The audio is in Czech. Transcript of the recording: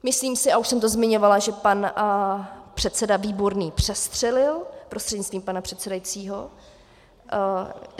Myslím si, a už jsem to zmiňovala, že pan předseda Výborný přestřelil prostřednictvím pana předsedajícího.